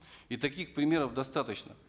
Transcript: и таких примеров достаточно